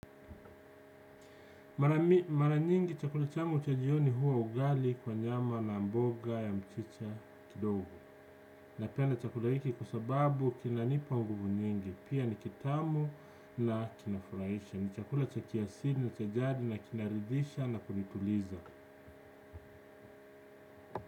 Mara nyingi chakula changu cha jioni huwa ugali kwa nyama na mboga ya mchicha kidogo. Napenda chakula hiki kwa sababu kinanipa nguvu nyingi. Pia ni kitamu na kinafurahisha. Ni chakula cha kiasili na cha jadi na kinaridhisha na kunituliza.